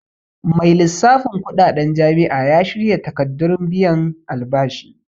Mai lissafin kuɗaɗen jami'a ya shirya takardun biyan albashi